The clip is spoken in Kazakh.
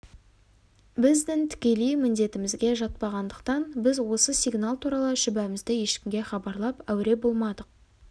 біздің тікелей міндетімізге жатпаған-дықтан біз осы сигнал туралы шүбәмізді ешкімге хабарлап әуре болмадық